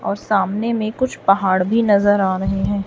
और सामने में कुछ पहाड़ भी नजर आ रहे हैं।